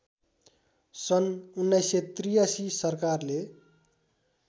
सन् १९८३ सरकारले